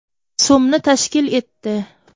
so‘mni tashkil etdi.